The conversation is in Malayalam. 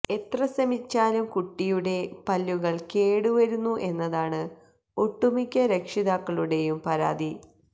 എത്ര ശ്രമിച്ചാലും കുട്ടിയുടെ പല്ലുകള് കേടുവരുന്നു എന്നതാണ് ഒട്ടുമിക്ക രക്ഷിതാക്കളുടെയും പരാതി